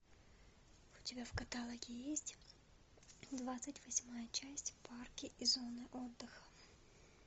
у тебя в каталоге есть двадцать восьмая часть парки и зоны отдыха